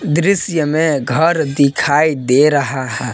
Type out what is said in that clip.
दृसय में घर दिखाई दे रहा है।